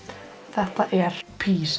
þetta er